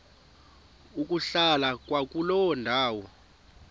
ukuhlala kwakuloo ndawo